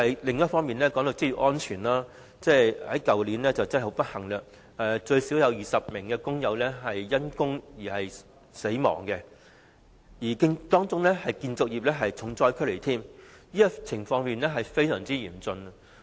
另一方面，談到職業安全，去年最少有20名工友不幸因工死亡，當中建造業是重災區，情況非常嚴峻。